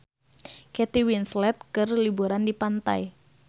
Kate Winslet keur liburan di pantai